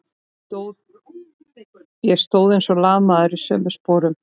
Ég stóð eins og lamaður í sömu sporunum.